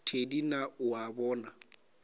thedi na o a bona